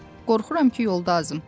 Qorxuram ki, yolda azım.